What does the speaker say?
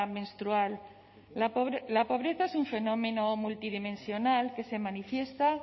menstrual la pobreza es fenómeno multidimensional que se manifiesta